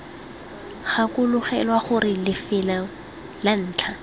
gakologelwa gore lefelo la ntlha